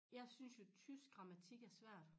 Jeg synes jo tysk grammatik er svært